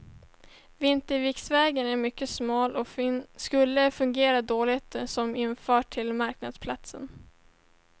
Vinterviksvägen är mycket smal och skulle fungera dåligt som infart till marknadsplatsen.